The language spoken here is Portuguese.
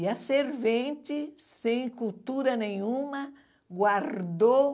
E a servente, sem cultura nenhuma, guardou...